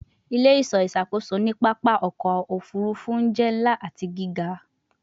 Ile-iṣọ iṣakoso ni papa ọkọ ofurufu jẹ nla ati giga